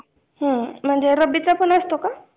हुं म्हणजे रब्बीचा पण असतो का?